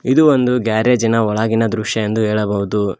ಇದು ಒಂದು ಗ್ಯಾರೇಜಿನ ಒಳಗಿನ ದೃಶ್ಯ ಎಂದು ಹೇಳಬಹುದು.